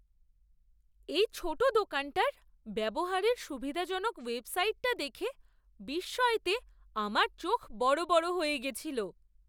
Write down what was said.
এই ছোট দোকানটার ব্যবহারে সুবিধাজনক ওয়েবসাইটটা দেখে বিস্ময়তে আমার চোখ বড় বড় হয়ে গেছিল!